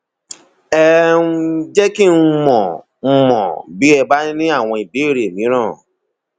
ẹ um jẹ kí n mọ n mọ bí ẹ bá ní àwọn ìbéèrè mìíràn